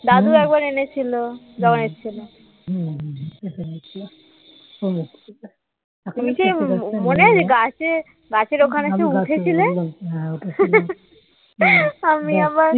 দাদু একবার এনেছিল যখন এসেছিল মনে আছে গাছের ওখানে উঠেছিলে আমি আবার